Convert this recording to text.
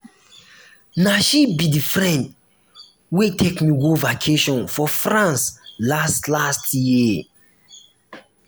na she um be the friend wey um take me go vacation for france last last year